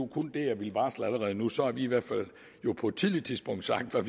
det jeg ville varsle allerede nu for så har vi i hvert fald på et tidligt tidspunkt sagt hvad